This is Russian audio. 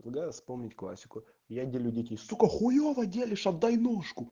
да вспомнить классику я не делю детей сука хуёво делишь отдай ножку